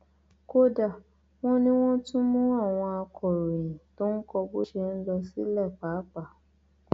kódà wọn ní wọn tún mú àwọn akọròyìn tó ń kọ bó ṣe ń lọ sílẹ páàpáà